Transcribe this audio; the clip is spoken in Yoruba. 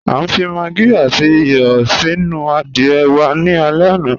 A fi màggí àtì ìyọ́ sínu àdìẹ̀ wà ní àlẹ̀ àná.